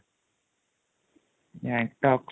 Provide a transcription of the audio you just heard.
Gangtok